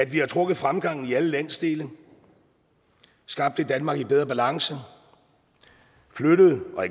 vi har trukket fremgangen i alle landsdele skabt et danmark i bedre balance flyttet og